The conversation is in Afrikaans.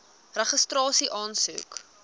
registrasieaansoek